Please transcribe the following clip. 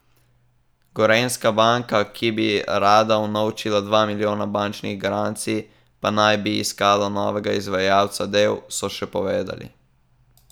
Gorenjska banka, ki bi rada unovčila dva milijona bančnih garancij, pa naj bi iskala novega izvajalca del, so še povedali.